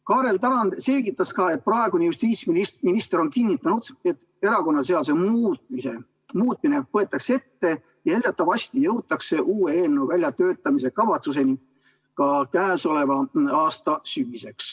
Kaarel Tarand selgitas ka, et praegune justiitsminister on kinnitanud, et erakonnaseaduse muutmine võetakse ette ja eeldatavasti jõutakse uue eelnõu väljatöötamiskavatsuseni käesoleva aasta sügiseks.